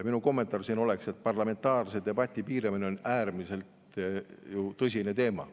" Minu kommentaar siin oleks, et parlamentaarse debati piiramine on ju äärmiselt tõsine teema.